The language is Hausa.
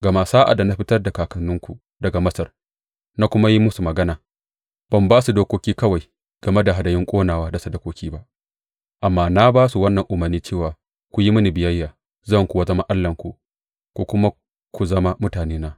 Gama sa’ad da na fitar da kakanninku daga Masar na kuma yi musu magana, ban ba su dokoki kawai game da hadayun ƙonawa da sadakoki ba, amma na ba su wannan umarni cewa ku yi mini biyayya, zan kuwa zama Allahnku ku kuma ku zama mutanena.